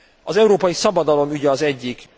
Az európai szabadalom ügye az egyik.